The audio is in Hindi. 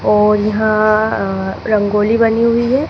और यहां रंगोली बनी हुई है।